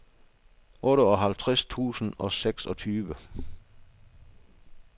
otteoghalvtreds tusind og seksogtyve